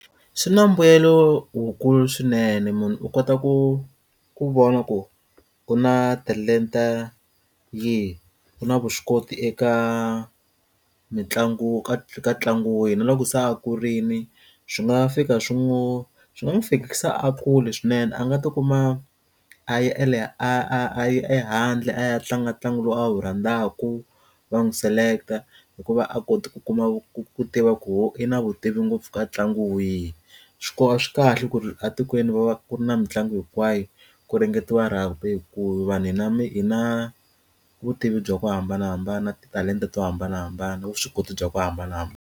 Swi na mbuyelo wukulu swinene munhu u kota ku ku vona ku u na talenta yihi u na vuswikoti eka mitlangu ka ka ntlangu wihi na loko se a kurini swi nga fika swi n'wi swi nga n'wi fikisa a kule swinene a nga ti kuma a laha a yi ehandle a ya tlanga ntlangu lowu a wu rhandzaka va n'wi select-a hikuva a kote ku kuma ku tiva ku i na vutivi ngopfu ka ntlangu wihi swikolo swi kahle ku ri etikweni va ku ri na mitlangu hinkwayo ku hlengeletiwa rugby hi ku vanhu hi na hi na vutivi bya ku hambanahambana titalenta to hambanahambana vuswikoti bya ku hambanahambana.